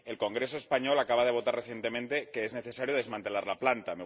El Congreso español acaba de aprobar recientemente la necesidad de desmantelar la planta.